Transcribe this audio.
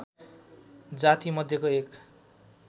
जाति मध्येको एक